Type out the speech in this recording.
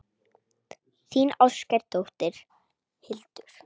Þín ástkær dóttir, Hildur.